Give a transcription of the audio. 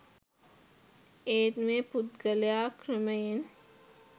ඒත් මේ පුද්ගලයා ක්‍රමයෙන්